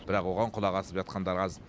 бірақ оған құлақ асып жатқандар аз